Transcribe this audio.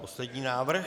Poslední návrh.